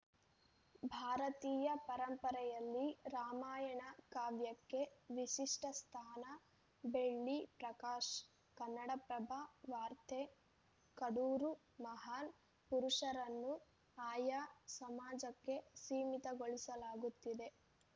ಭಾರತೀಯ ಪರಂಪರೆಯಲ್ಲಿ ರಾಮಾಯಣ ಕಾವ್ಯಕ್ಕೆ ವಿಶಿಷ್ಟಸ್ಥಾನ ಬೆಳ್ಳಿ ಪ್ರಕಾಶ್‌ ಕನ್ನಡಪ್ರಭ ವಾರ್ತೆ ಕಡೂರು ಮಹಾನ್‌ ಪುರುಷರನ್ನು ಆಯಾ ಸಮಾಜಕ್ಕೆ ಸೀಮಿತಗೊಳಿಸಲಾಗುತ್ತಿದೆ